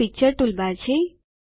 આ picture toolbar છે